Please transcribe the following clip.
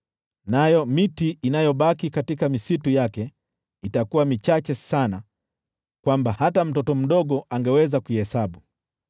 Nayo miti inayobaki katika misitu yake itakuwa michache sana hata mtoto mdogo angeweza kuihesabu.